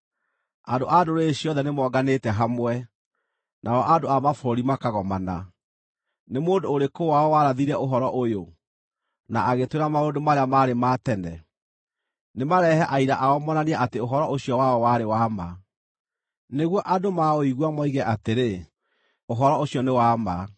Andũ a ndũrĩrĩ ciothe nĩmonganĩte hamwe, nao andũ a mabũrũri makagomana. Nĩ mũndũ ũrĩkũ wao warathire ũhoro ũyũ, na agĩtwĩra maũndũ marĩa maarĩ ma tene? Nĩmarehe aira ao moonanie atĩ ũhoro ũcio wao warĩ wa ma, nĩguo andũ maũigua moige atĩrĩ, “Ũhoro ũcio nĩ wa ma.”